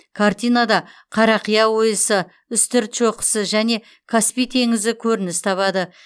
картинада қарақия ойысы үстірт шоқысы және каспий теңізі көрініс табады